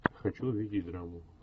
хочу увидеть драму